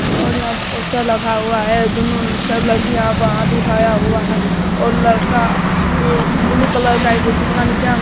और यहां पर पोस्टर लगा हुआ है दुनो सब लड़की यहाँ पर हाथ उठाया हुआ है और लड़का ब्लू कलर का एगो फूकना नीचा में ।